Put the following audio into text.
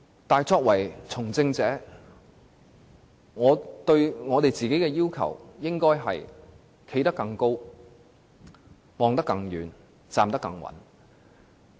但作為從政者，我們應該站得更高、看得更遠、站得更穩。